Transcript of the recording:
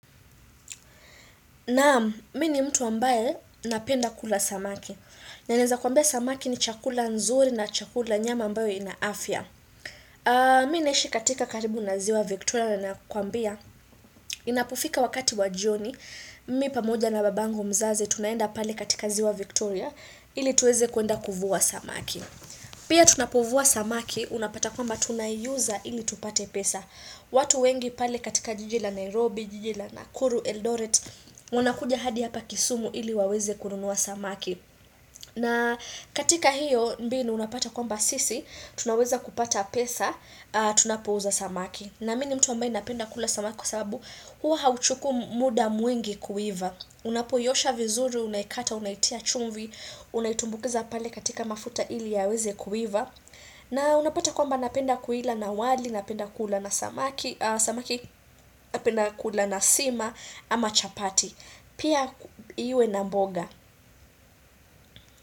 Naam, mii ni mtu ambaye napenda kula samaki. Nanaeza kuambia samaki ni chakula nzuri na chakula nyama ambayo ina afya. Mii naishi katika karibu na ziwa Victoria na nakwambia. Inapofika wakati wa jioni, mimi pamoja na babangu mzazi tunaenda pale katika ziwa Victoria ili tuweze kuenda kuvua samaki. Pia tunapovua samaki, unapata kwamba tunaiuza ili tupate pesa. Watu wengi pale katika jijila Nairobi, jijila naKuru Eldoret wanakuja hadi hapa kisumu ili waweze kurunua samaki na katika hiyo mbinu unapata kwamba sisi Tunaweza kupata pesa, tunapouza samaki na mii ni mtu ambaye napenda kula samaki kwa sababu Huwa hauchukui muda mwingi kuiva Unapoiosha vizuri, unaikata, unaitia chumvi Unaitumbukiza pale katika mafuta ili yaweze kuiva na unapata kwamba napenda kuila na wali, napenda kula na samaki, napenda kula na sima ama chapati. Pia iwe na mboga.